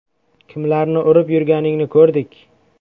“Kimlarni urib yurganingni ko‘rdik.